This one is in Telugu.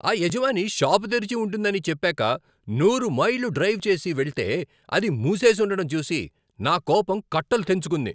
ఆ యజమాని షాపు తెరిచి ఉంటుందని చెప్పాక నూరు మైళ్ళు డ్రైవ్ చేసి వెళ్తేఅది మూసేసుండడం చూసి నా కోపం కట్టలు తెంచుకుంది.